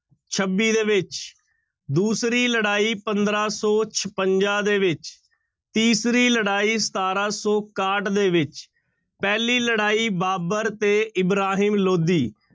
ਛੱਬੀ ਦੇ ਵਿੱਚ ਦੂਸਰੀ ਲੜਾਈ ਪੰਦਰਾਂ ਸੌ ਛਪੰਜਾ ਦੇ ਵਿੱਚ, ਤੀਸਰੀ ਲੜਾਈ ਸਤਾਰਾਂ ਸੌ ਇਕਾਹਠ ਦੇ ਵਿੱਚ, ਪਹਿਲੀ ਲੜਾਈ ਬਾਬਰ ਤੇ ਇਬਰਾਹਿਮ ਲੋਧੀ